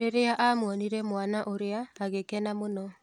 Rĩriĩ amwonire mwana ũrĩa agĩkena mũno.